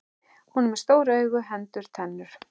Hún er með stór augu, hendur, tennur.